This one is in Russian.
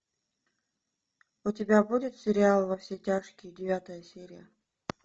у тебя будет сериал во все тяжкие девятая серия